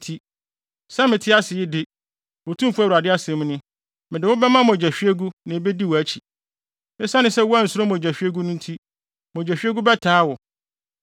nti, sɛ mete ase yi de, Otumfo Awurade asɛm ni, mede wo bɛma mogyahwiegu na ebedi wʼakyi. Esiane sɛ woansuro mogyahwiegu no nti, mogyahwiegu bɛtaa wo.